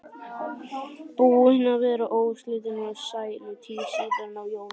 Búin að vera óslitin sælutíð síðan á jólunum.